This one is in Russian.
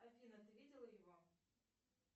афина ты видела его